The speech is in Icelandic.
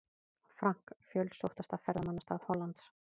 Frank, fjölsóttasta ferðamannastað Hollands.